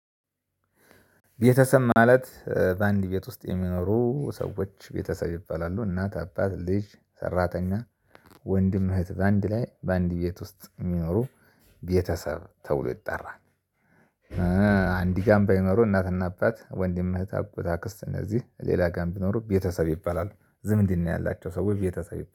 ቤተሰብ ማለት በአንድ ቤት ውስጥ የሚኖሩ ሰዎች ቤተሰብ ይባላሉ እናት አባት ልጅ ሰራተኛ ወንድም እህት በአንድ ላይ በአንድ ቤት ውስጥ የሚኖሩ ቤተሰብ ተብሎ ይጠራል። አንድ ጋርም ባይኖሩ እናትና አባት ወንድም እህት አባት አክስት እነዚህ ሌላ ጋር ቢኖር ቤተሰብ ይባላሉ። ዝምድና ያላቸው ሰዎች ቤተሰብ